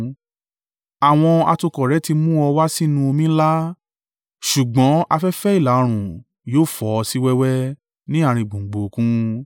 Àwọn atukọ̀ rẹ ti mú ọ wá sínú omi ńlá. Ṣùgbọ́n afẹ́fẹ́ ìlà-oòrùn yóò fọ́ ọ sí wẹ́wẹ́ ní àárín gbùngbùn Òkun.